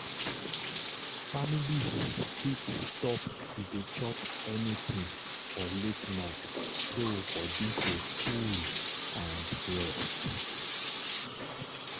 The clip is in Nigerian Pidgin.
families fit stop to dey chop anything for late night so body go cool and rest.